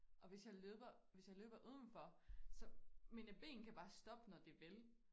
Og hvis jeg løber hvis jeg løber uden for så mine ben kan bare stoppe når de vil